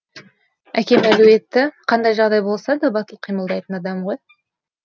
әкем әлуетті қандай жағдайда болса да батылқимылдайтын адам ғой